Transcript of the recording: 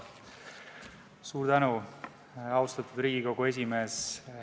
Suur tänu, austatud Riigikogu esimees!